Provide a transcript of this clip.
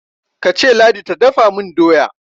kace ladi ta dafa min doya!